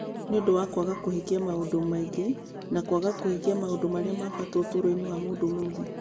Nĩ ũndũ wa kwaga kũhingia maũndũ maingĩ na kwaga kũhingia maũndũ marĩa ma bata ũtũũro-inĩ wa mũndũ ũmũthĩ.